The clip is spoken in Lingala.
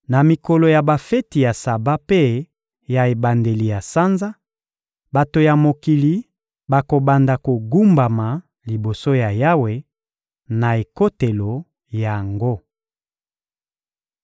Na mikolo ya bafeti ya Saba mpe ya ebandeli ya sanza, bato ya mokili bakobanda kogumbama liboso ya Yawe, na ekotelo yango.